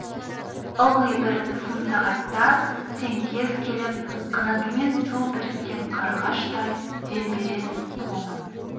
ылғи бір сын сағатта сен кез келіп қанатымен су бүріккен қарлығаштай дем бересің құлыным